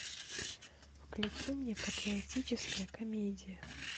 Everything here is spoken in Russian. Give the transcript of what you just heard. включи мне патриотическая комедия